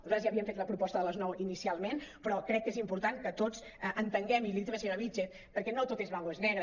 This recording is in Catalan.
nosaltres ja havíem fet la proposta de les nou ini·cialment però crec que és important que tots entenguem i li ho he dit a la senyora vílchez perquè no tot és blanc o és negre